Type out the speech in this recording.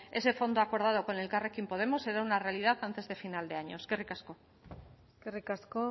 ese fondo acordado con elkarrekin podemos será una realidad antes de final de año eskerrik asko eskerrik asko